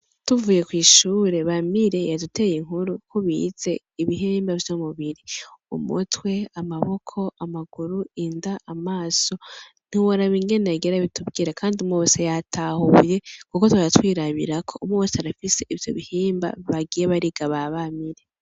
Tuvuye kw'ishure Bamire yaduteye inkuru uko bize ibihimba vy'umubiri, umutwe, amaboko, amaguru, inda, amaso, ntiworaba ingene yagiye arabitubwira, kandi umwe wese yatahuye, kuko twari twirabirako umwe wese arafise ivyo bihimba bagiye bariga ba Bamire.